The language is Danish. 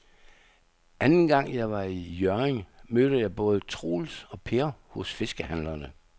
Anden gang jeg var i Hjørring, mødte jeg både Troels og Per hos fiskehandlerne.